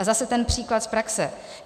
A zase ten příklad z praxe.